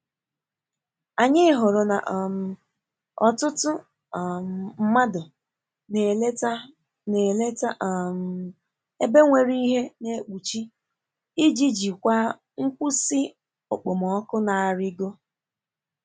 Anyị hụrụ na um ọtụtụ um mmadụ na-eleta na-eleta um ebe nwere ihe na-ekpuchi iji jikwaa nkwụsị okpomọkụ na-arịgo.